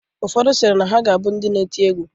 Ụfodụ sịrị na ha ga-abụ ndị na-eti egwu.